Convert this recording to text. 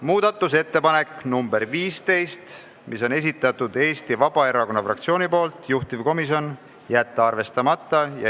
Muudatusettepanek nr 15 Eesti Vabaerakonna fraktsioonilt, juhtivkomisjoni otsus: jätta arvestamata.